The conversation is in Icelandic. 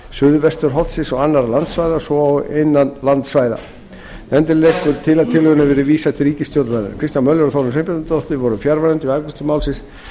suðvesturhornsins og annarra landsvæða svo og innan landsvæða nefndin leggur til að tillögunni verði vísað til ríkisstjórnarinnar kristján l möller og þórunn sveinbjarnardóttir voru fjarverandi við afgreiðslu málsins